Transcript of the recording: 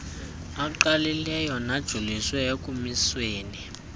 angqalileyo najoliswe ekumisweni